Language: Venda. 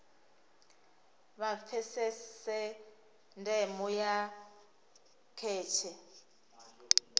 vha pfesese ndeme ya kheshe